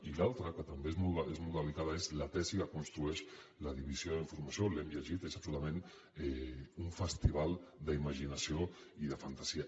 i l’altre que també és molt delicat és la tesi que construeix la divisió d’i nformació l’hem llegit és absolutament un festival d’imaginació i de fantasia